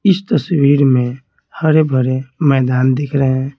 इस तस्वीर में हरे भरे मैदान दिख रहे हैं।